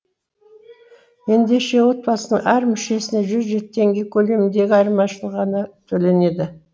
ендеше отбасының әр мүшесіне жүз жеті теңге көлеміндегі айырмашылығы ғана төленеді